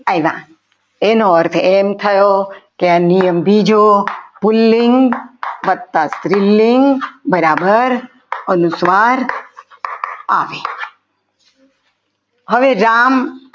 આવ્યા એનો અર્થ એમ થયો કે આ નિયમ બીજો પુલ્લિંગ વત્તા સ્ત્રીલિંગ બરાબર અનુસ્વાર આવે હવે રામ આવ્યા.